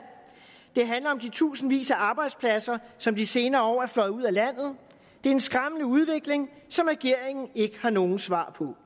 det handler om de tusindvis af arbejdspladser som de senere år er fløjet ud af landet det er en skræmmende udvikling som regeringen ikke har nogen svar på